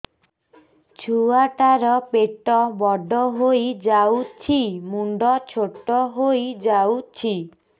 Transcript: ଛୁଆ ଟା ର ପେଟ ବଡ ହେଇଯାଉଛି ମୁଣ୍ଡ ଛୋଟ ହେଇଯାଉଛି